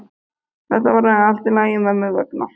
Þetta verður allt í lagi mömmu vegna.